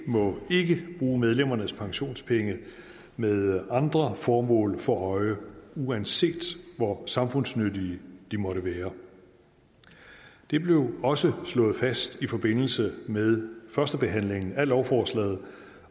må ikke bruge medlemmernes pensionspenge med andre formål for øje uanset hvor samfundsnyttige de måtte være det blev også slået fast i forbindelse med førstebehandlingen af lovforslaget